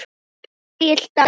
Elsku Egill Daði!